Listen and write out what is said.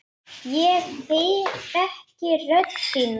Ég þekki rödd þína.